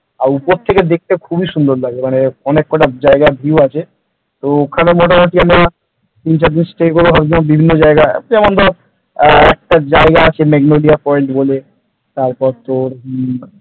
আর উপর থেকে দেখতে খুবই সুন্দর লাগে মানে অনেকটা জায়গার view আছে ওখানে মোটামুটি তিন চার দিন stay করব ভাবছিলাম বিভিন্ন জায়গা যেমন ধর একটা জায়গা আছে মেঘ নদীয়া point বলে তারপর তোর,